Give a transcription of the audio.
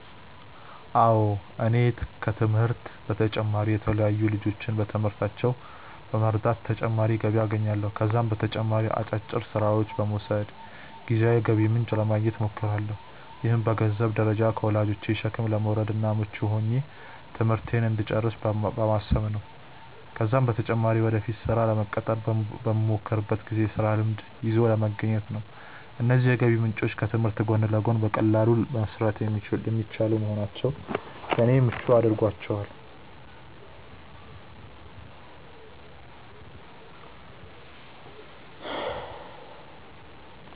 አዎ እኔ ከትምህርቴ በተጨማሪ የተለያዩ ልጆችን በትምህርታቸው በመርዳት ተጨማሪ ገቢ አገኛለሁ። ከዛም በተጨማሪ አጫጭር ስራዎችን በመውሰድ ጊዜያዊ የገቢ ምንጭ ለማግኘት እሞክራለሁ። ይህም በገንዘንብ ደረጃ ከወላጆቼ ሸክም ለመውረድ እና ምቹ ሆኜ ትምህርቴን እንድጨርስ በማሰብ ነው ነው። ከዛም በተጨማሪ ወደፊት ስራ ለመቀጠር በመሞክርበት ጊዜ የስራ ልምድ ይዞ ለመገኘት ነው። እነዚህ የገቢ ምንጮች ከትምህርት ጎን ለጎን በቀላሉ መሰራት የሚችሉ በመሆናቸው ለኔ ምቹ አድርጓቸዋል።